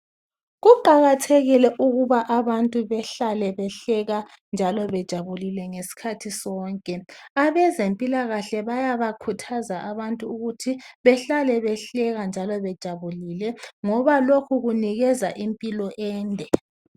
Kuqakathekile ukuba abantu behlale behleka njalo bejabulile ngesikhathi sonke abezempilakahle bayaba khuthaza abantu ukuthi behlale behleka njalo bejabulile ngoba lokhu kunikeza impilo ende.